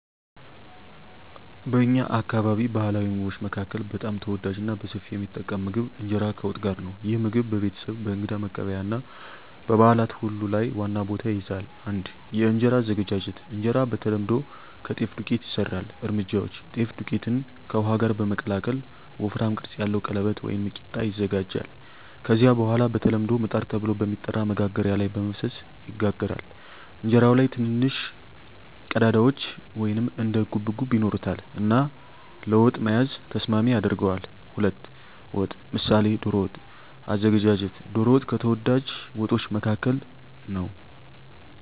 በእኛ አካባቢ ባሕላዊ ምግቦች መካከል በጣም ተወዳጅና በሰፊው የሚጠቀም ምግብ እንጀራ ከወጥ ጋር ነው። ይህ ምግብ በቤተሰብ፣ በእንግዳ መቀበያ እና በበዓላት ሁሉ ላይ ዋና ቦታ ይይዛል። 1. የእንጀራ አዘገጃጀት እንጀራ በተለምዶ ከጤፍ ዱቄት ይሰራል። እርምጃዎች: ጤፍ ዱቄትን ከውሃ ጋር በመቀላቀል ወፍራም ቅርጽ ያለው ቀለበት (ቂጣ) ይዘጋጃል። ከዚያ በኋላ በተለምዶ “ምጣድ” ተብሎ በሚጠራ መጋገሪያ ላይ በመፍሰስ ይጋገራል። እንጀራው ላይ ትንንሽ ቀዳዳዎች (እንደ ጉብጉብ) ይኖሩታል እና ለወጥ መያዝ ተስማሚ ያደርገዋል። 2. ወጥ (ምሳሌ ዶሮ ወጥ) አዘገጃጀት ዶሮ ወጥ ከተወዳጅ ወጦች መካከል ነው።